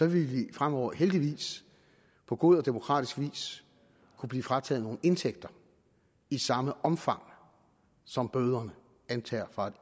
vi fremover heldigvis på god og demokratisk vis kunne blive frataget nogle indtægter i samme omfang som bøder antager for et